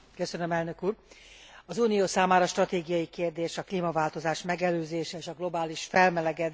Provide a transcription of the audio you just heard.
Az Unió számára stratégiai kérdés a klímaváltozás megelőzése és a globális felmelegedés elleni küzdelem.